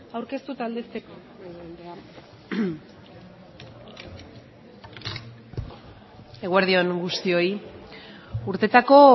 aurkeztu eta aldezteko eguerdi on guztioi urtetako